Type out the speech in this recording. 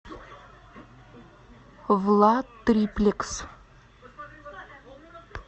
владтриплекс